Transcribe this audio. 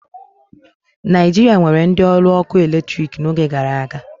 Naijiria nwere ndị ọrụ ọkụ eletrik n'oge gara aga